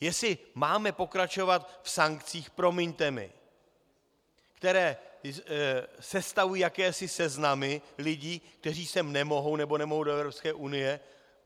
Jestli máme pokračovat v sankcích, promiňte mi, které sestavují jakési seznamy lidí, kteří sem nemohou nebo nemohou do Evropské unie.